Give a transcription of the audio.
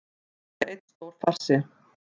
Þetta var einn stór farsi